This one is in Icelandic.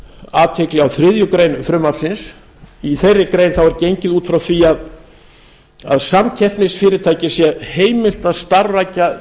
athygli á þriðju greinar frumvarpsins í þeirri grein er gengið út frá því að samkeppnisfyrirtæki sé heimilt að starfrækja